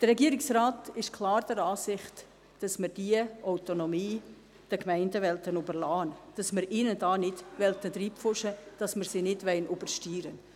Der Regierungsrat ist klar der Ansicht, dass wir den Gemeinden diese Autonomie lassen wollen, dass wir ihnen da nicht hineinpfuschen wollen, dass wir sie nicht übersteuern wollen.